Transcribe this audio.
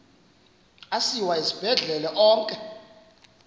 asiwa esibhedlele onke